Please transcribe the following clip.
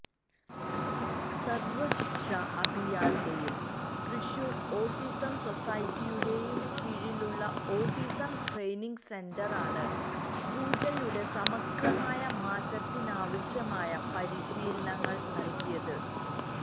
സര്വശിക്ഷാ അഭിയാന്റെയും തൃശൂര് ഓട്ടിസം സൊസൈറ്റിയുടെയും കീഴിലുള്ള ഓട്ടിസം ട്രെയ്നിങ് സെന്ററാണ് പൂജയുടെ സമഗ്രമായ മാറ്റത്തിനാവശ്യമായ പരിശീലനങ്ങള് നല്കിയത്